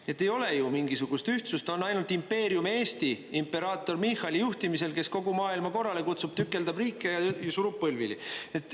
Nii et ei ole ju mingisugust ühtsust, on ainult impeerium Eesti imperaator Michali juhtimisel, kes kogu maailma korrale kutsub, tükeldab riike ja surub põlvili.